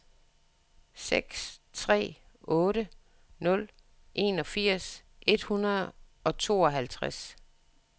seks tre otte nul enogfirs et hundrede og tooghalvtreds